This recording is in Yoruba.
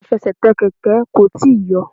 Afẹsẹ̀tẹ̀ Kẹ̀kẹ́ kò tíì yọ.